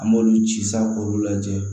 An m'olu ci sa k'olu lajɛ